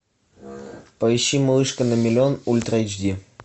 поищи малышка на миллион ультра эйч ди